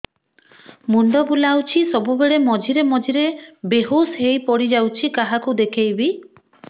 ମୁଣ୍ଡ ବୁଲାଉଛି ସବୁବେଳେ ମଝିରେ ମଝିରେ ବେହୋସ ହେଇ ପଡିଯାଉଛି କାହାକୁ ଦେଖେଇବି